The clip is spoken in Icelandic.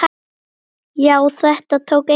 Já, þetta tók enga stund.